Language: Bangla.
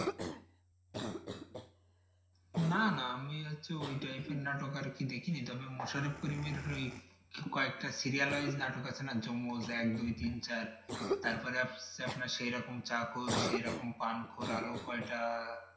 না না আমি হচ্ছে ওই type এর নাটক আরকি দেখিনি তবে মোশারফ করিমের ওই কয়েকটা serial wise নাটক আছে না যমুস এক দুই তিন চার তারপরে আপনার সেরকম চাকর সে রকম পান করারও কয়টা